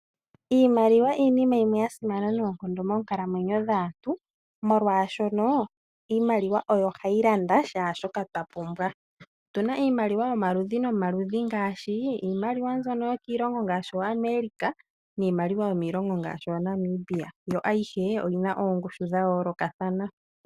Iimaliwa iinima yimwe ya simana noonkondo moonkalamwenyo dhaantu, molwaashono iimaliwa ohayi longithwa okulanda kehe shoka twa pumbwa . Otu na iimaliwa yomaludhi nomaludhi ngaashi iimaliwa yokoshilongo shaAmerika niimaliwa yomoshilongo shaNamiba. Oyi na oongushu dha yoolokathana.